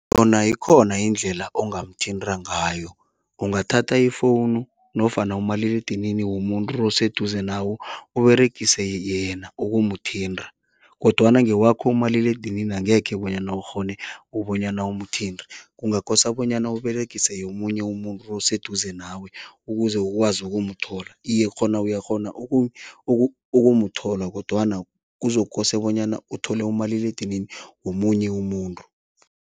Khona ikhona indlela ongamthinta ngayo, ungathatha ifowunu nofana umaliledinini womuntu oseduze nawe Uberegise yena ukumuthinta kodwana ngewakho umaliledinini angekhe bonyana ukghone ukubonyana umuthinte. Kungakosa bonyana Uberegise yomunye umuntu oseduze nawe ukuze ukwazi ukumthola, iye khona uyakghona ukumthola kodwana kuzokose bonyana uthole umaliledinini womunye umuntu.